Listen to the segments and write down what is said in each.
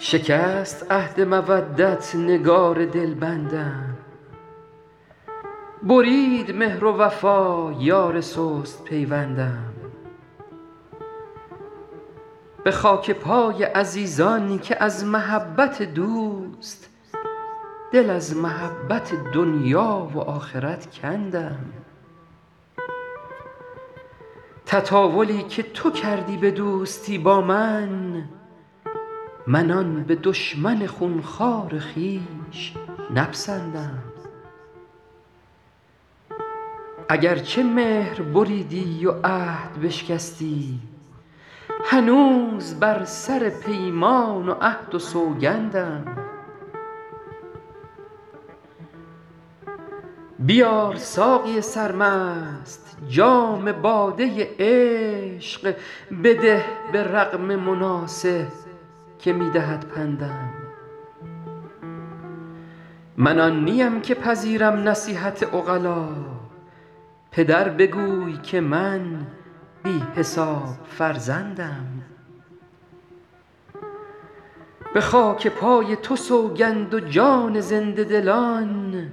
شکست عهد مودت نگار دلبندم برید مهر و وفا یار سست پیوندم به خاک پای عزیزان که از محبت دوست دل از محبت دنیا و آخرت کندم تطاولی که تو کردی به دوستی با من من آن به دشمن خون خوار خویش نپسندم اگر چه مهر بریدی و عهد بشکستی هنوز بر سر پیمان و عهد و سوگندم بیار ساقی سرمست جام باده عشق بده به رغم مناصح که می دهد پندم من آن نیم که پذیرم نصیحت عقلا پدر بگوی که من بی حساب فرزندم به خاک پای تو سوگند و جان زنده دلان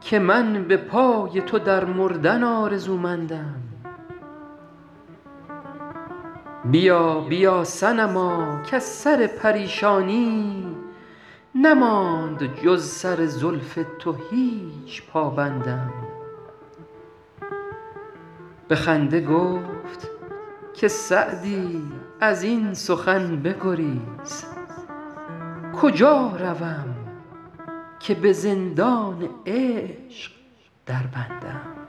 که من به پای تو در مردن آرزومندم بیا بیا صنما کز سر پریشانی نماند جز سر زلف تو هیچ پابندم به خنده گفت که سعدی از این سخن بگریز کجا روم که به زندان عشق دربندم